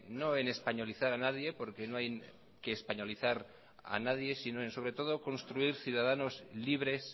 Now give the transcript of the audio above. no es españolizar a nadie porque no hay que españolizar a nadie sino en sobretodo construir ciudadanos libres